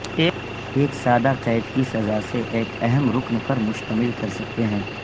ایک سادہ قید کی سزا سے ایک اہم رکن پر مشتمل کر سکتے ہیں